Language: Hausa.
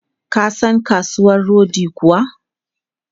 Ka san kasuwan rodi kuwa?